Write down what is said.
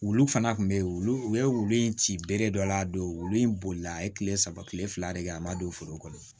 Wulu fana tun be yen wulu u ye wulu in ci bere dɔ la a don wulu in bolila a ye kile saba kile fila de kɛ a ma don foro kɔnɔ